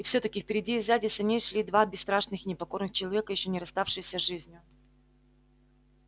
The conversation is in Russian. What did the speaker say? и все таки впереди и сзади саней шли два бесстрашных и непокорных человека ещё не расставшиеся с жизнью